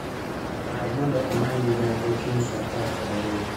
Par mondo amany migago kiny saa apar kod ariyo